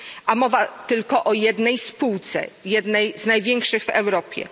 A mowa tylko o jednej spółce, jednej z największych w Europie.